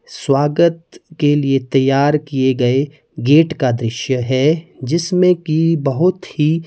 स्वागत के लिए तैयार किए गए गेट का दृश्य है जिसमें कि बहुत ही--